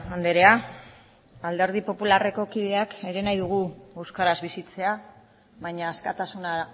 andrea alderdi popularreko kideak ere nahi dugu euskaraz bizitzea baina askatasuna